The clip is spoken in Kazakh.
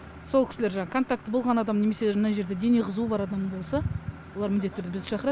сол кісілер жаңағы контакты болған адам немесе мына жерде дене қызуы бар адам болса олар міндетті түрде бізді шақырады